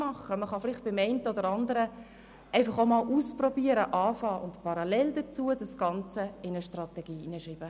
Man kann vielleicht das eine oder andere auch ausprobieren, einmal anfangen und das Ganze parallel dazu in die Strategie aufnehmen.